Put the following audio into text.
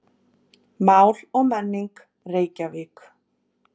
Mál og menning, Reykjavík.